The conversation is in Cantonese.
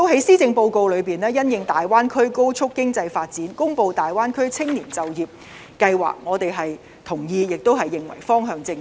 施政報告亦因應大灣區高速經濟發展，公布了大灣區青年就業計劃，我們同意並認為方向正確。